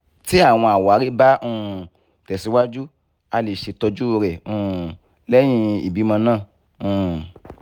ti awọn awari ba um tesiwaju a le ṣetọju rẹ um lẹhin ibimọ naa um